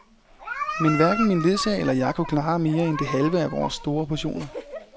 Men hverken min ledsager eller jeg kunne klare mere end det halve af vores store portioner.